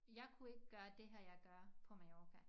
Jeg kunne ikke gøre det her jeg gør på Mallorca